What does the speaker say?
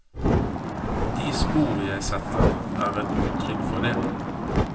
De spor jeg setter, er et uttrykk for det.